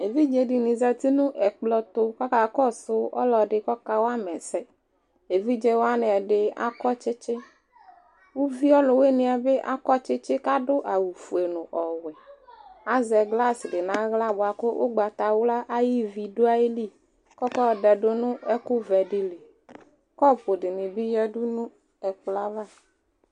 Evidzedini zati nu ɛkplɔ tu akakɔsu ɔlɔdi ku ɔka wama ɛsɛ evidze wani ɛdi akɔ tsitsi uvi ɔluwuniɛ bi akɔ tsitsi ku adu awu ofue nu ɔwɛ azɛ glasi naɣla ugbatawla ayu ivi bi du ayili ku ɔka yɔdɛ du nu ɛku wɛ dili kɔpu dinibi yadu nu ɛkplɔ ava